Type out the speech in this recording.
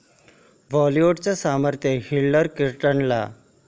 बॉलिवूडचं समर्थन हिलरी क्लिंटनना